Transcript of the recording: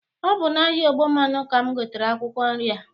Ọ bụ n'ahịa ọgbọmmanụ ka m gotere akwụkwọ nri a.